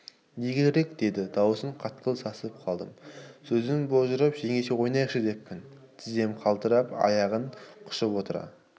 не керек деді дауысы қатқыл сасып қалдым сөзім божырап жеңеше ойнайықшы деппін тізем қалтырап аяғын құшып отыра